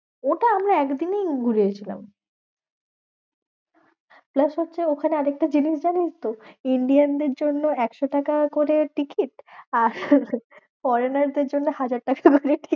ওটা আমরা একদিনেই ঘুরে এসেছিলাম। plus হচ্ছে ওখানে আরেকটা জিনিস জানিসতো। Indian দের জন্য একশো টাকা করে টিকিট আর foreigner দের জন্য হাজার টাকা করে টিকিট।